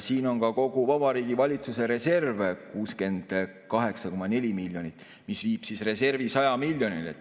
Siin on ka kogu Vabariigi Valitsuse reserv 68,4 miljonit, mis viib reservi 100 miljonini.